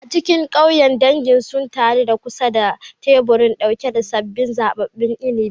A cikin ƙauyen, dangi sun taru a kusa da teburi ɗauke da sabbin zaɓaɓɓun inabi.